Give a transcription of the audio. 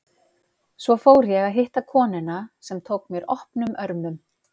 Svo fór ég að hitta konuna, sem tók mér opnum örmum.